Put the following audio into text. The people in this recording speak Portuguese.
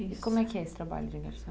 E como é que é esse trabalho de garçon?